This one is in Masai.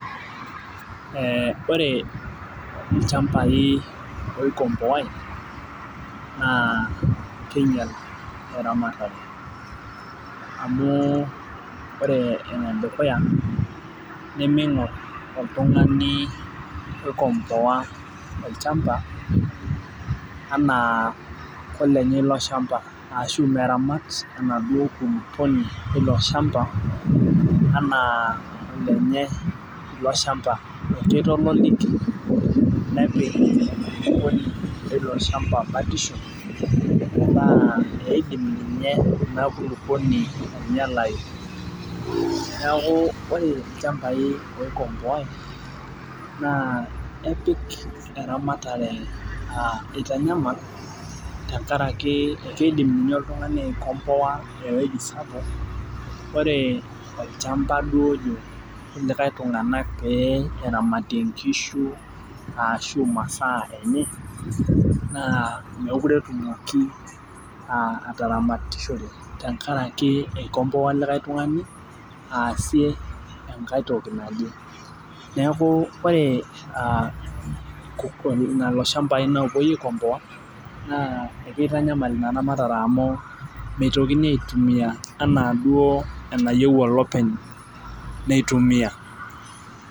Ore lchambai oikomboai na kinyel eramatare amu ore enedukuya nemeingor oltungani oikomboa olchamba anabkelemye ilo shamba arashu meramat polepole ilo shamba ana olenye ilobshamba kitodoli. Nepik ilo shamba batisho na eidim ninye ina kulukuoni ainyalai neaku ore lchambai oikomboai na kepik eramatare eitanyamal tenkaraki akidim ninye oltungani aikomboa ewoi sapuk ore olchamba otii likae tunganak peramatie nkishu enye na mekute etumoki ataramatishore tenkaraki eikomboa likae tungani neaku ore loloshambai opuoi aikomboa mitokini aitumia ana duo enayieu olopeny nitumia.